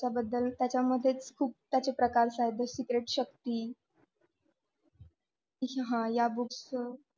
त्याबद्दल त्याच्यामध्ये खूप त्याचे प्रकार आहेत ना the secret शक्ती. हा या books च